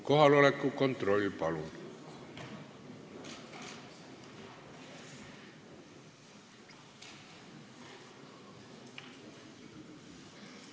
Kohaloleku kontroll, palun!